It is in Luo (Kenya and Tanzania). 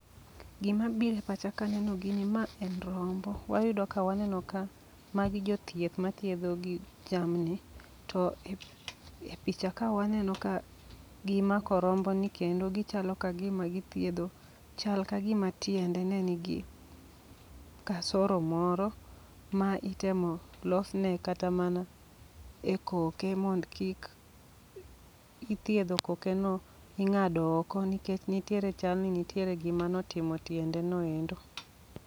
Gima biro epacha kaneno gini ma en rombo. Wayudo ka waneno ka magi jothieth mathiedho gig jamni. To e epichaka waneno ka gimako romboni kendo gichalo kagima githiedho chal kagima tiende nenigi kasoro moro ma itemo losne kata mana ekoke mond kik ithiedho kokeno ing'ado oko nikech nitiere chalni nitiere gima notimo tiendeno endo.